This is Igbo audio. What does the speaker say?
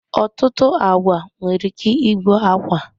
Ọtụtụ agwa nwere ike igbu akwa.